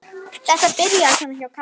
Þetta byrjaði svona hjá Kalla.